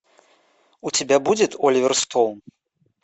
у тебя будет оливер стоун